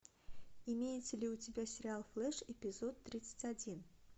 имеется ли у тебя сериал флэш эпизод тридцать один